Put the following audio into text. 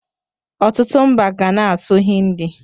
Ọtụtụ mba ga na-asụ Hindi.